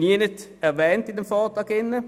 Diese sind im Vortrag nirgends erwähnt.